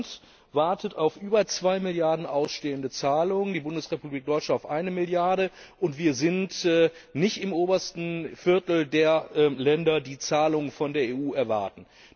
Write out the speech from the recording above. Ihr Land wartet auf über zwei Milliarden ausstehende Zahlungen, die Bundesrepublik Deutschland auf eine Milliarde, und wir sind nicht im obersten Viertel der Länder, die Zahlungen von der EU erwarten.